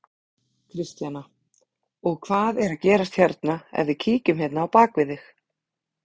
Kristjana: Og hvað er að gerast hérna, ef við kíkjum hérna á bak við þig?